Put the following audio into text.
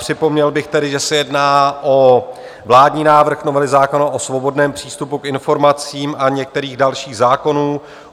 Připomněl bych tedy, že se jedná o vládní návrh novely zákona o svobodném přístupu k informacím a některých dalších zákonů.